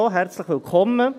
Herzlich willkommen.